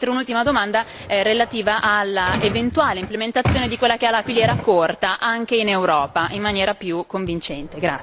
Inoltre, un'ultima domanda è relativa all'eventuale implementazione di quella che è la filiera corta anche in Europa in maniera più convincente.